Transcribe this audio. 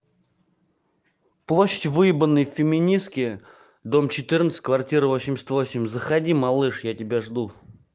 площадь выебаны феминистки дом четырнадцать квартира восемьдесят восемь заходи малыш я тебя жду